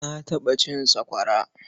Na taɓa cin sakwara.